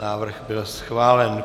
Návrh byl schválen.